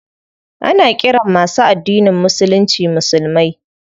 Ana ƙiran masu addinin musulunci musulmai.